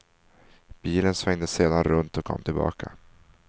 Bilen svängde sedan runt och kom tillbaka.